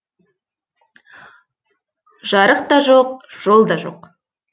жарық та жоқ жол да жоқ